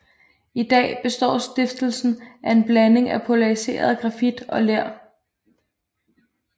I dag består stiften af en blanding af pulveriseret grafit og ler